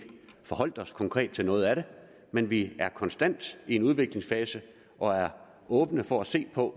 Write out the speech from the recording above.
forholdt os konkret til noget af det men vi er konstant i en udviklingsfase og er åbne for at se på